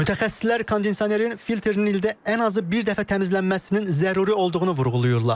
Mütəxəssislər kondisionerin filtrinin ildə ən azı bir dəfə təmizlənməsinin zəruri olduğunu vurğulayırlar.